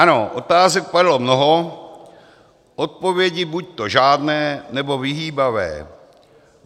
Ano, otázek padlo mnoho, odpovědi buďto žádné, nebo vyhýbavé.